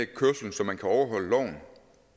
kørslen så man kan overholde loven